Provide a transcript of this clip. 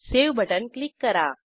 save button click करा